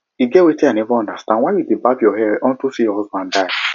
e get wetin i never understand why you dey barb your hair unto say your husband die